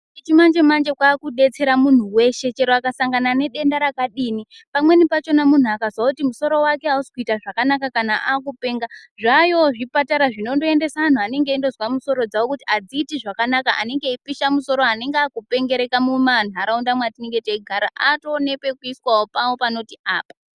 Ichi chimanje manje chakudetsera munhu weshe chero akasanga nedenda rakadini pamweni pachona munhu akazwa kuti musoro wake ausi kuita zvakanaka kana akupenga zvayoo zvipatara zvinondoendesa antu anenge eingozwa musoro dzawo kuti adziiti zvakanaka anenge eipisha musoro anenge akupengereka mumhanharaunda mwatinemge teigara atoo nepekuiswawo pawo panoti apa.